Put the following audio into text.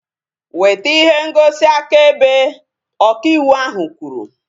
Weta ihe ngosi akaebe! Ọka ịwụ ahu kwuru